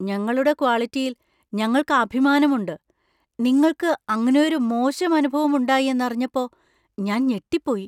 ഞങ്ങളുടെ ക്വാളിറ്റിയിൽ ഞങ്ങൾക്ക് അഭിമാനമുണ്ട്, നിങ്ങൾക്ക് അങ്ങനെയൊരു മോശം അനുഭവം ഉണ്ടായി എന്നറിഞ്ഞപ്പോ ഞാൻ ഞെട്ടിപ്പോയി.